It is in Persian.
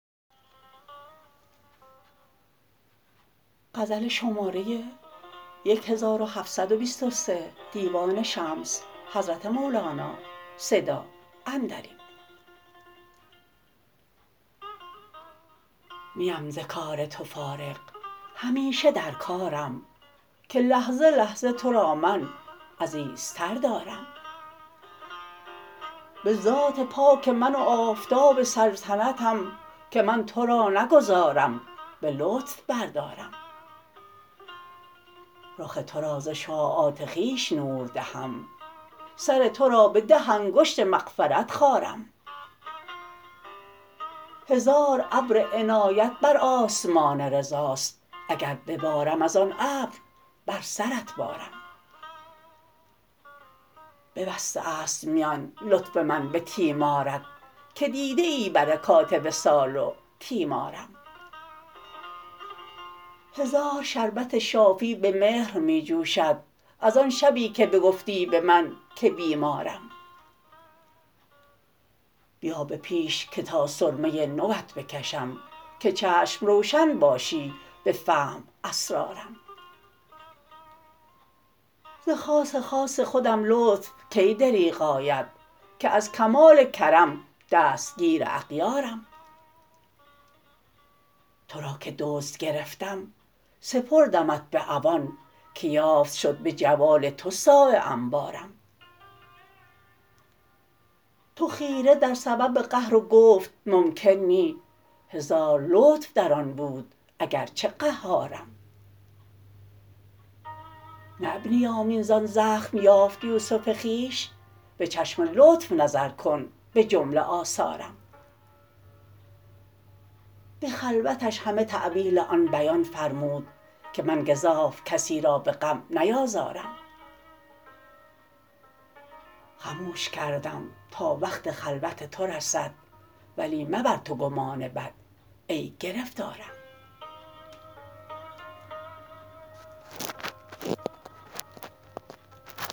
نیم ز کار تو فارغ همیشه در کارم که لحظه لحظه تو را من عزیزتر دارم به ذات پاک من و آفتاب سلطنتم که من تو را نگذارم به لطف بردارم رخ تو را ز شعاعات خویش نور دهم سر تو را به ده انگشت مغفرت خارم هزار ابر عنایت بر آسمان رضاست اگر ببارم از آن ابر بر سرت بارم ببسته ست میان لطف من به تیمارت که دیده ای برکات وصال و تیمارم هزار شربت شافی به مهر می جوشد از آن شبی که بگفتی به من که بیمارم بیا به پیش که تا سرمه نو ات بکشم که چشم روشن باشی به فهم اسرارم ز خاص خاص خودم لطف کی دریغ آید که از کمال کرم دستگیر اغیارم تو را که دزد گرفتم سپردمت به عوان که یافت شد به جوال تو صاع انبارم تو خیره در سبب قهر و گفت ممکن نی هزار لطف در آن بود اگر چه قهارم نه ابن یامین زان زخم یافت یوسف خویش به چشم لطف نظر کن به جمله آثارم به خلوتش همه تأویل آن بیان فرمود که من گزاف کسی را به غم نیازارم خموش کردم تا وقت خلوت تو رسد ولی مبر تو گمان بد ای گرفتارم